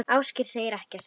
Ásgeir segir ekkert.